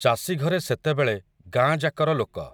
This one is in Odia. ଚାଷୀଘରେ ସେତେବେଳେ, ଗାଁଯାକର ଲୋକ ।